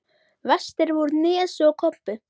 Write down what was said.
Verstir voru Nesi og Kobbi.